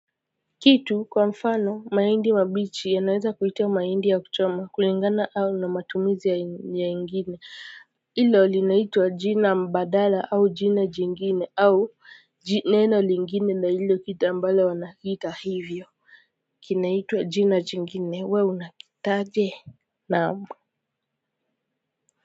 Kitu kwa mfano mahindi mabichi yanaweza kuitwa mahindi ya kuchoma kulingana au na matumizi ya ingine ilo linaitwa jina mbadala au jina jingine au neno lingine na hilo kitu ambalo wanakiita hivyo kinaitwa jina jingine we unakiitaje naam.